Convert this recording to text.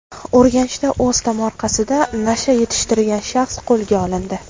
Urganchda o‘z tomorqasida nasha yetishtirgan shaxs qo‘lga olindi.